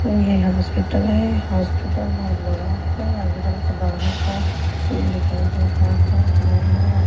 ये हॉस्पिटल है हॉस्पिटल बहुत बड़ा है हॉस्पिटल के बाहर का सीन दिखाई दे रहा है जीने हैं और--